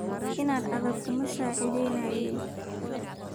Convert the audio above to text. Indaa aadeg kumasacidheynayin.